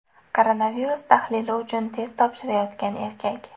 Koronavirus tahlili uchun test topshirayotgan erkak.